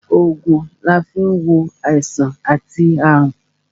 Ògùn ni a fi ń wo àìsàn àti àrùn